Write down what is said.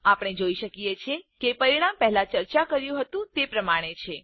આપણે જોઈ શકીએ છીએ કે પરિણામ પહેલા ચર્ચા કર્યું હતું તે પ્રમાણે છે